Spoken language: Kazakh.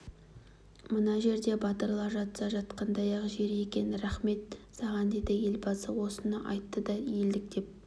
мына жер батырлар жатса жатқандай-ақ жер екен рахмет саған деді елбасы осыны айтты да елдік пен